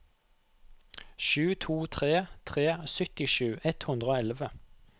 sju to tre tre syttisju ett hundre og elleve